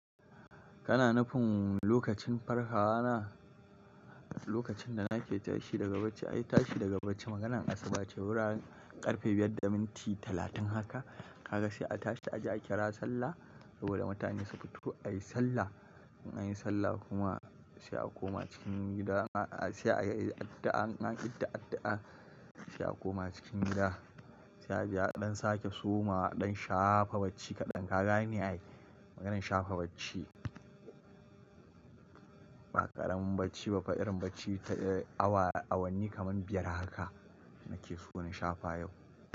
Kana nufin lokacin farkawa na? Lokacin da nake tashi daga bacci, ai tashi daga bacci maganan Asuba ce wurin ƙarfe biyar da minti talatin haka, ka ga sai a tashi a je a kira sallah. Saboda mutane su fito ayi sallah. Anyi sallah kuma sai a koma cikin gida, a-a sai a yi addu'a, an yi addu'a addu'a sai a koma cikin gida. Sai a je a ɗan sake soma ɗan shafa bacci kaɗan. Ka gani ai maganan shafa bacci, ba ƙaramin bacci ba fa, irin bacci awa awanni kaman biyar haka nake so na shafa yau.